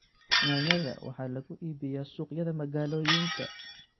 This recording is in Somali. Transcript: Yaanyada waxaa lagu iibiyaa suuqyada magaalooyinka.